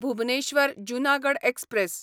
Bhubaneswar Junagadh express